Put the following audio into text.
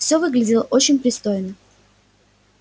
всё выглядело очень пристойно